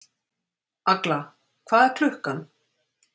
Agla, hvað er klukkan?